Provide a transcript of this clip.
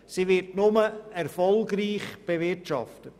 Sie wird nur erfolgreich bewirtschaftet.